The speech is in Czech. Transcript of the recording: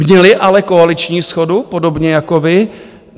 Měli ale koaliční shodu, podobně jako vy?